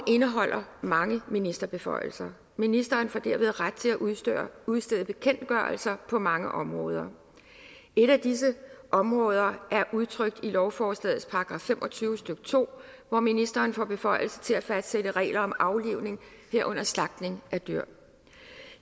indeholder mange ministerbeføjelser ministeren får derved ret til at udstede udstede bekendtgørelser på mange områder et af disse områder er udtrykt i lovforslagets § fem og tyve stykke to hvor ministeren får beføjelse til at fastsætte regler om aflivning herunder slagtning af dyr